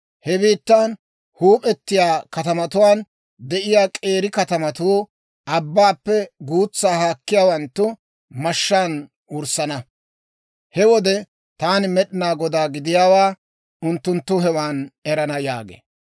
He biittan huup'etiyaa katamatuwaan de'iyaa k'eeri katamatuu abbaappe guutsa haakkiyaawanttu mashshaan wurssana. He wode Taani Med'inaa Godaa gidiyaawaa unttunttu hewan erana› yaagee.